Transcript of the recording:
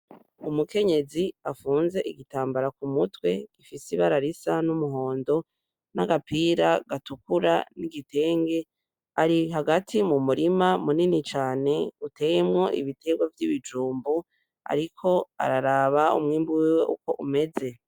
Umukenyezi afunze igitambara ku mutwe gifis'ibara risa n'umuhondo n'agapira gatukura n'igitenge ari hagati mu murima munini cane uteyemwo ibiterwa vy'ibijumbu ariko araraba umwimbu wiwe uko umeze.